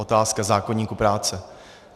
Otázka zákoníku práce.